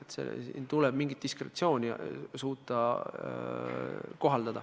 Tuleb suuta kohaldada mingisugust diskretsiooni.